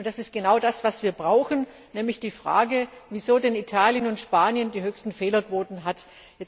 Und das ist genau das, was wir brauchen, nämlich die Frage, wieso denn Italien und Spanien die höchsten Fehlerquoten haben.